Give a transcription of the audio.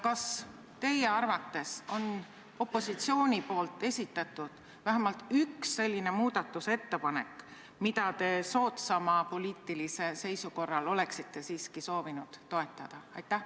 Kas teie arvates on opositsioonil esitatud vähemalt üks selline muudatusettepanek, mida te soodsama poliitilise seisukorra puhul oleksite siiski soovinud toetada?